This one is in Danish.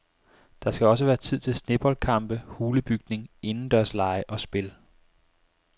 Der skal også være tid til sneboldkampe, hulebygning, indendørslege og spil.